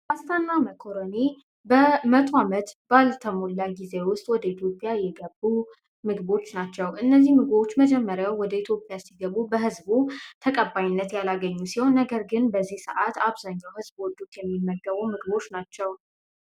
ፓስታ እና መኮረኒ መቶ አመት ባልሞላ ጊዜ ውስጥ ወደ ኢትዮጵያ የገቡ ምግቦች ናቸው። እነዚህ ምግቦች በመጀመሪያው ወደ ኢትዮጵያ ሲገቡ በህዝቡ ተቀባይነት ያላገኙ ነገር ግን በዚህ ሰዓት አብዛኛው ሰው ወዶት የሚመገባቸው ናቸዉ።